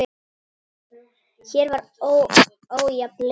Hér var ójafn leikur.